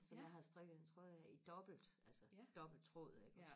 som jeg har strikket en trøje af i dobbelt altså dobbelt tråd iggås